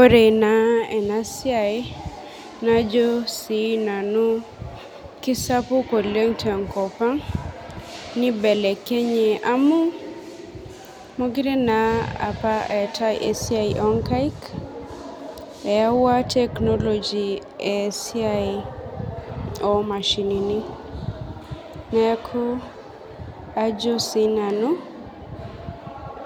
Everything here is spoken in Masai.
Ore na enasiai najo na nanu kesapuk oleng tenkopang nibelekenye amu mekute na apa eatae esiai onkaik eyawua technology esiai omashinini neaku ajo na sinanu